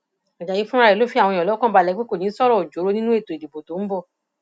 ajáyí fúnra rẹ fi àwọn èèyàn lọkàn balẹ pé kò ní í sọrọ ọjọọrọ nínú ètò ìdìbò tó ń bọ